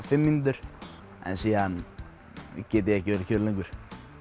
fimm mínútur en svo get ég ekki verið kyrr lengur